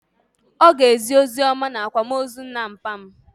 Ọ ga-ezi oziọma n'akwamozu nna papa m.